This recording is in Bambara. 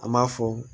An m'a fɔ